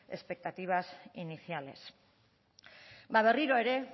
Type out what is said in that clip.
expectativas iniciales berriro ere